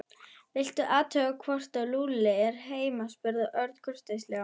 Viltu athuga hvort Lúlli er heima spurði Örn kurteislega.